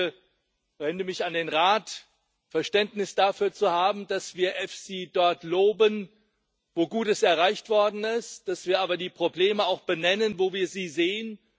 Ich bitte ich wende mich an den Rat Verständnis dafür zu haben, dass wir EFSI dort loben, wo Gutes erreicht worden ist, dass wir aber auch die Probleme benennen, wo wir sie sehen.